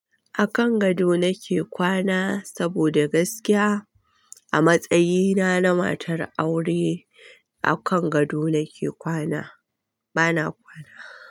A kan gado nake kwana saboda gaskiya a matsayina na matar aure a kan gado nake kwana. Bana kwana.